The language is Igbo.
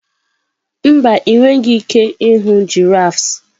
mba, ị nweghị ike ịhụ giraffes.